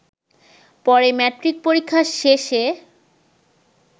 পরে ম্যাট্রিক পরীক্ষা শেষে